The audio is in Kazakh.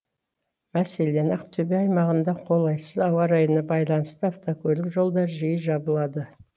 мәселен ақтөбе аймағында қолайсыз ауа райына байланысты автокөлік жолдары жиі жабылады